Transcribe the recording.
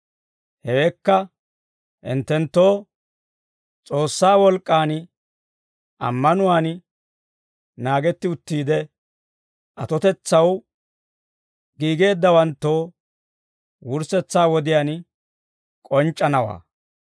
Hewekka hinttenttoo, S'oossaa wolk'k'aan ammanuwaan naagetti uttiide, atotetsaw giigeeddawanttoo wurssetsaa wodiyaan k'onc'c'anawaa.